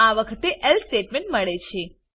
આ વખતે એલ્સે સ્ટેટમેન્ટ મળે છે